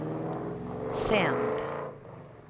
sänd